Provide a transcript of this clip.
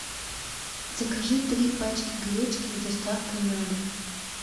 закажи три пачки гречки с доставкой на дом